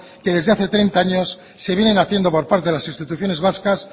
que desde hace treinta años se vienen haciendo por parte de las instituciones vascas